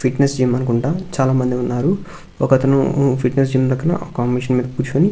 Fitness gym మనుకుంటా చాలామంది ఉన్నారు ఒకతను ఫిట్నెస్ జిమ్ పకన కాంబినేషన్ పెను కూర్చుని.